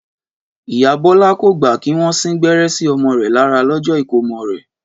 Ìyá Bọ́lá kò gbà kí wọ́n sín gbẹ́rẹ́ sí ọmọ rẹ̀ lára lọ́jọ́ ìkómọ rẹ̀